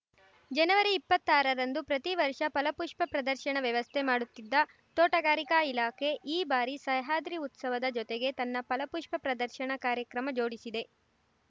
ಜನವರಿ ಇಪ್ಪತ್ತಾರರಂದು ಪ್ರತಿ ವರ್ಷ ಫಲಪುಷ್ಪ ಪ್ರದರ್ಶನ ವ್ಯವಸ್ಥೆ ಮಾಡುತ್ತಿದ್ದ ತೋಟಗಾರಿಕಾ ಇಲಾಖೆ ಈ ಬಾರಿ ಸಹ್ಯಾದ್ರಿ ಉತ್ಸವದ ಜೊತೆಗೆ ತನ್ನ ಫಲಪುಷ್ಪ ಪ್ರದರ್ಶನ ಕಾರ್ಯಕ್ರಮ ಜೋಡಿಸಿದೆ